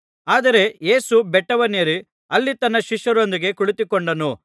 ಆದರೆ ಯೇಸು ಬೆಟ್ಟವನ್ನೇರಿ ಅಲ್ಲಿ ತನ್ನ ಶಿಷ್ಯರೊಂದಿಗೆ ಕುಳಿತುಕೊಂಡನು